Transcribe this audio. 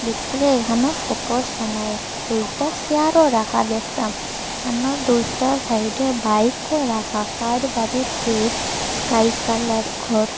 ভিতরে এখানেও ফটোস বানায় দুইটা সেয়ারও রাখা দেখটাম আরনো দুইটা সাইডে বাইকও রাখা কার বাড়ির গেট স্কাই কালার ঘর।